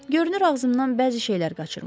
Görünür ağzımdan bəzi şeylər qaçırmışdım.